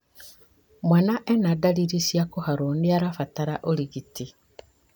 Mwana ena ndariri cia kũharwo na nĩarabatara ũrigiti